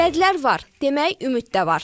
Vədlər var, demək ümid də var.